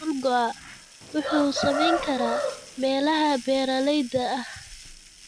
Dhul go'a wuxuu saameyn karaa meelaha beeralayda ah.